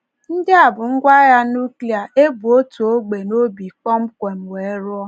Ndị a bụ ngwá agha nùklia e bu otu ógbè n’obi kpọmkwem wee rụọ.